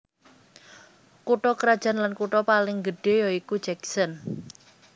Kutha krajan lan kutha paling gedhé ya iku Jackson